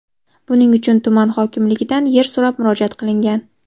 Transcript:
Buning uchun tuman hokimligidan yer so‘rab murojaat qilingan.